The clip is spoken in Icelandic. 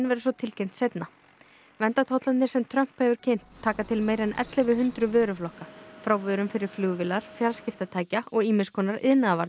verður svo tilkynnt seinna verndartollarnir sem Trump hefur kynnt taka til meira en ellefu hundruð vöruflokka frá vörum fyrir flugvélar fjarskiptatækja og ýmis konar